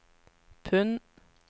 pund